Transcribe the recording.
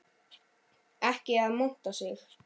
Ekki að monta sig.